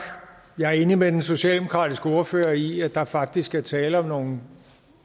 jeg er enig med den socialdemokratiske ordfører i at der faktisk er tale om nogle